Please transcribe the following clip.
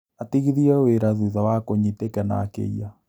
Atigithirio wĩra thutha wa kũnyitĩkana akĩiya